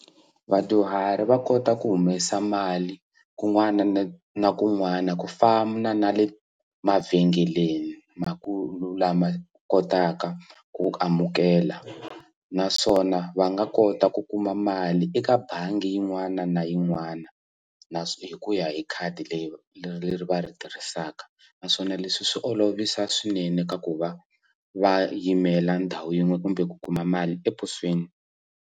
Vadyuhari va kota ku humesa mali kun'wana na kun'wana ku fana na le mavhengeleni lama kotaka ku amukela naswona va nga kota ku kuma mali eka bangi yin'wana na yin'wana na hi ku ya hi khadi leri leri va ri tirhisaka naswona leswi swi olovisa swinene ka ku va va yimela ndhawu yin'we kumbe ku kuma mali eposweni.